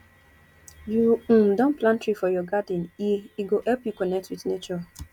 you um don plant tree for your garden e e go help you connect wit nature